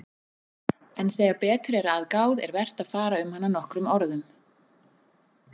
En þegar betur er að gáð er vert að fara um hana nokkrum orðum.